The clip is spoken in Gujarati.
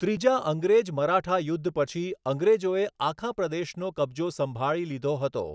ત્રીજા અંગ્રેજ મરાઠા યુદ્ધ પછી અંગ્રેજોએ આખા પ્રદેશનો કબજો સંભાળી લીધો હતો.